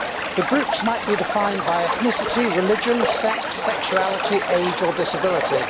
The groups might be defined by ethnicity, religion, sex, sexuality, age or disability.